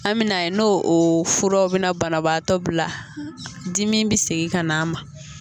An mɛna ye no o furaw bɛna banabaatɔ bila dimi bɛ segin ka n'a ma.